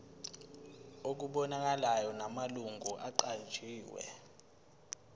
okubonakalayo namalungu aqanjiwe